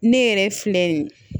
Ne yɛrɛ filɛ nin ye